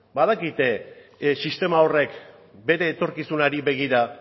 badakite sistema horrek bere etorkizunari begira